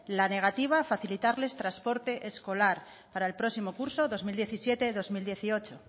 la negativa a facilitarles transporte escolar para el próximo curso dos mil diecisiete dos mil dieciocho